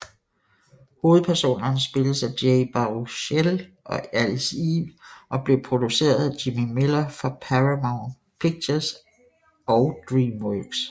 Hovedpersonerne spilles af Jay Baruchel og Alice Eve og blev produceret af Jimmy Miller for Paramount Pictures og DreamWorks